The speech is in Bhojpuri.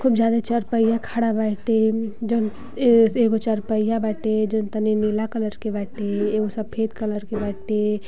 खूब ज्यादा चरपहिया खढ़ा बाटे। जोन ए एगो चारपहिया बाटे जोन तनी नीला कलर के बाटे एगो सफ़ेद कलर के बाटे।